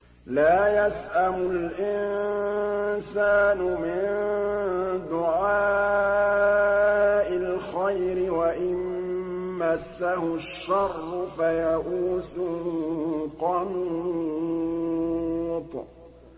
لَّا يَسْأَمُ الْإِنسَانُ مِن دُعَاءِ الْخَيْرِ وَإِن مَّسَّهُ الشَّرُّ فَيَئُوسٌ قَنُوطٌ